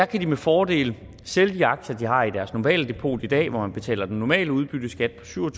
kan de med fordel sælge de aktier de har i deres normale depot i dag hvor man betaler den normale udbytteskat på syv og